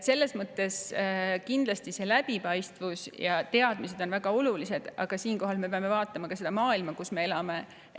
Selles mõttes on kindlasti läbipaistvus ja teadmised väga olulised, aga siinkohal peame me vaatama ka maailma, kus me elame.